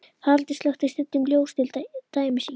Haraldur slökkti stundum ljós, til dæmis í